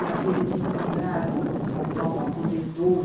E aqui eles encontraram São Paulo acolhedor,